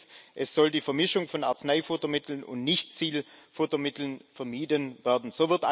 Und drittens Es soll die Vermischung von Arzneifuttermitteln und Nichtziel Futtermitteln vermieden werden.